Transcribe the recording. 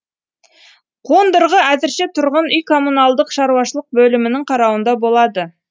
қондырғы әзірше тұрғын үй коммуналдық шаруашылық бөлімінің қарауында болады